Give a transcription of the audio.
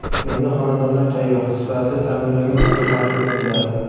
Endi xonadonlar tayyor, sifatli ta’mirlangan holda taqdim etiladi.